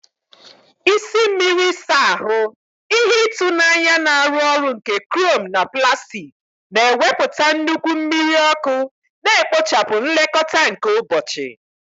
Isi mmiri ịsa ahụ, ihe ịtụnanya na-arụ ọrụ nke chrome na plastik, na-ewepụta nnukwu mmiri ọkụ, na-ekpochapụ nlekọta nke ụbọchị.